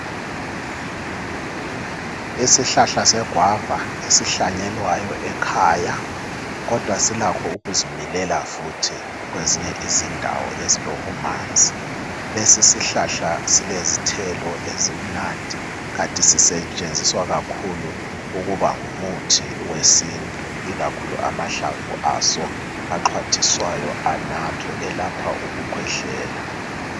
Isihlahla segwava esihlanyelwayo ekhaya kodwa silakho ukuzimilela futhi kwezinye izindawo ezilobumanzi. Lesi sihlahla silezithelo ezimnandi kanti sisetshenziswa kakhulu ukuba ngumuthi wesintu ikakhulu amahlamvu aso, axwathiswayo anathwe elapha ukukhwehlela.